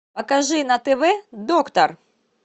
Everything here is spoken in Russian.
покажи на тв доктор